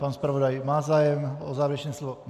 Pan zpravodaj má zájem o závěrečné slovo?